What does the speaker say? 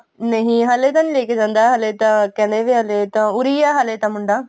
ਨਹੀਂ ਹਲੇ ਤਾਂ ਨਹੀਂ ਲੈਕੇ ਜਾਂਦਾ ਹਲੇ ਤਾਂ ਕਹਿੰਦਾ ਵੀ ਹਲੇ ਤਾਂ ਉਰੇ ਹੀ ਹਲੇ ਤਾਂ ਮੁੰਡਾ